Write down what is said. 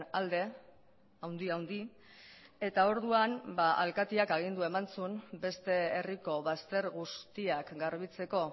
alde handi handi eta orduan alkateak agindua eman zuen beste herriko bazter guztiak garbitzeko